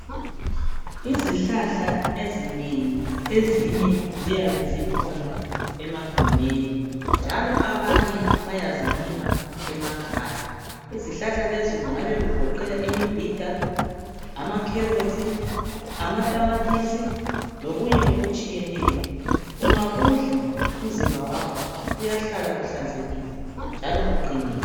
izihlahla ezinengi ezinye zikhona emagumeni njalo abanye bayazilima emakhaya izihalahla lezi kungabe kugoqela imibhida ama carrots ama tamatisi lokunye okutshiyeneyo ungakudla umzimba wakho uyahlala uhlanzekile njalo uqinile